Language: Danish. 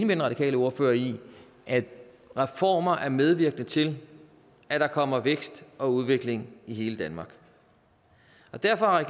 den radikale ordfører i at reformer er medvirkende til at der kommer vækst og udvikling i hele danmark derfor har